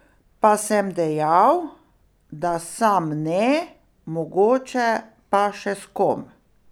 Pa sem dejal, da sam ne, mogoče pa še s kom.